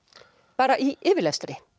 bara í yfirlestri